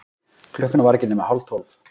Klukkan var ekki nema hálftólf.